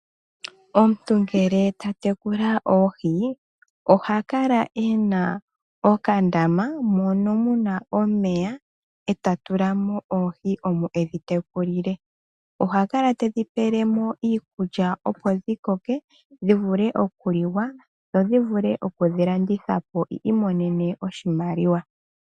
Omuntu ngele ta tekula oohi ohakala ena okandama mono muna omeya eta tula mo oohi omo edhi teku li le, ohakala tedhi pele mo iikulya opo dhi koke dhi vule okuliwa dho dhi vule oku landithwa po wu imonene oshimaliwa.